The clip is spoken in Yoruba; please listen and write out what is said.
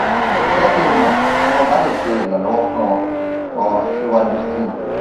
jẹ ki n mọ ti mo ba le ṣe iranlọwọ fun ọ ọ siwaju sii